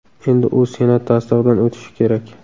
Endi u Senat tasdig‘idan o‘tishi kerak.